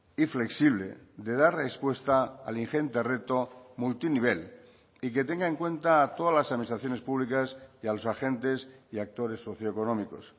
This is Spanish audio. y flexible de dar respuesta al ingente reto multinivel y que tenga en cuenta a todas las administraciones públicas y a los agentes y actores socioeconómicos